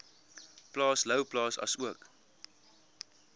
plaas louwplaas asook